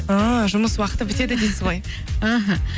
ііі жұмыс уақыты бітеді дейсіз ғой іхі